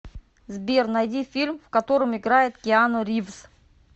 сбер найди фильм в котором играет киану ривз